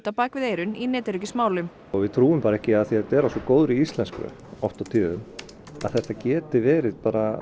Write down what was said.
á bak við eyrun í netöryggismálum við trúum bara ekki af því þetta er á svo góðri íslensku oft á tíðum að þetta geti verið